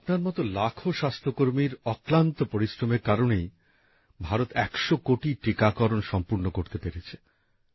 আপনার মত লাখো স্বাস্থ্য কর্মীর অক্লান্ত পরিশ্রমের কারণেই ভারত ১০০ কোটি টীকাকরণ সম্পূর্ণ করতে পেরেছে